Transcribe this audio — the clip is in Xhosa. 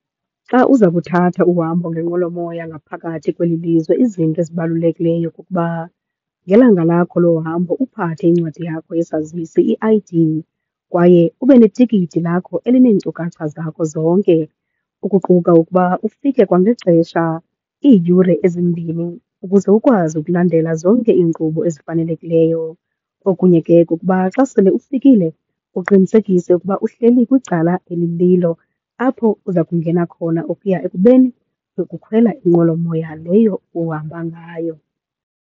Xa uza kuthatha uhambo ngenqwelomoya ngaphakathi kweli lizwe izinto ezibalulekileyo kukuba ngelanga lakho lohambo uphathe incwadi yakho yesazisi, i-I_D, kwaye ube netikiti lakho elineenkcukacha zakho zonke, ukuquka ukuba ufike kwangexesha, iiyure ezimbini ukuze ukwazi ukulandela zonke iinkqubo ezifanelekileyo. Okunye ke kukuba xa sele ufikile uqinisekise ukuba uhleli kwicala elililo apho uza kungena khona ukuya ekubeni uyokukhwela inqwelomoya leyo uhamba ngayo.